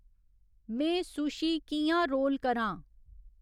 में सुशी कि'यां रोल क़रां?